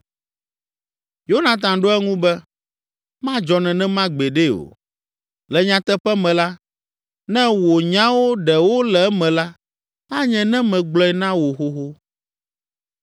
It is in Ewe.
Yonatan ɖo eŋu be, “Madzɔ nenema gbeɖe o; le nyateƒe me la, ne wò nyawo ɖe wole eme la, anye ne megblɔe na wò xoxo.”